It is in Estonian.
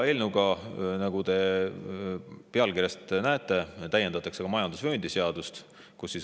Eelnõuga täiendatakse, nagu te pealkirjast näete, ka majandusvööndi seadust.